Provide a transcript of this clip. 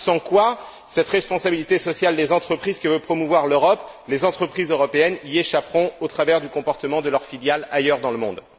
Parce que, sans quoi, cette responsabilité sociale des entreprises que veut promouvoir l'Europe, les entreprises européennes y échapperont au travers du comportement de leurs filiales ailleurs dans le monde.